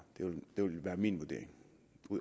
det vil være min vurdering